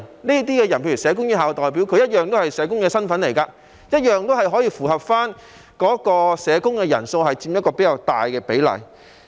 這些人如社工院校的代表，同樣是社工身份，同樣可以符合社工人數佔較大比例的情況。